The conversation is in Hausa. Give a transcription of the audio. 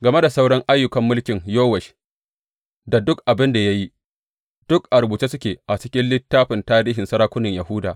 Game da sauran ayyukan mulkin Yowash da duk abin da ya yi, duk a rubuce suke a cikin littafin tarihin sarakunan Yahuda.